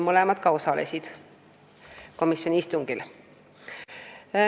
Mõlemad ka osalesid komisjoni istungil.